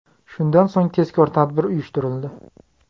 Shundan so‘ng tezkor tadbir uyushtirildi.